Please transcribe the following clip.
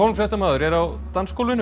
fréttamaður er á dansgólfinu